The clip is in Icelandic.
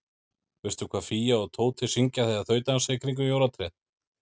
Veistu hvað Fía og Tóti syngja þegar þau dansa í kringum jólatréð?